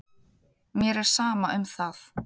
Mér er sama um það.